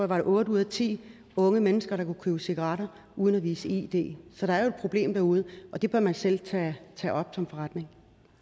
var otte ud af ti unge mennesker der kunne købe cigaretter uden at vise id så der er jo et problem derude og det bør man selv tage op som forretning